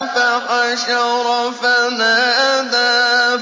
فَحَشَرَ فَنَادَىٰ